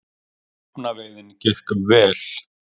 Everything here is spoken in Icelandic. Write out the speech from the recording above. Rjúpnaveiðin gekk vel